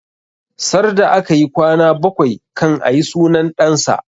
Sarda akayi kwana bakwai kan ayi sunan ɗan sa